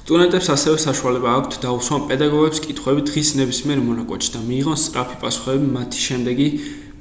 სტუდენტებს ასევე საშუალება აქვთ დაუსვან პედაგოგებს კითხვები დღის ნებისმიერ მონაკვეთში და მიიღონ სწრაფი პასუხები მათი შემდეგი